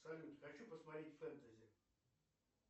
салют хочу посмотреть фэнтези